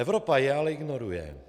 Evropa je ale ignoruje.